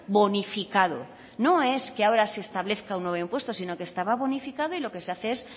bonificado no es que ahora se establezca un nuevo impuesto sino que estaba bonificado y lo que se hace es